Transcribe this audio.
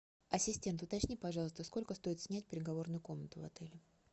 ассистент уточни пожалуйста сколько стоит снять переговорную комнату в отеле